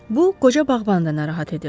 Bu, qoca bağbanı da narahat edirdi.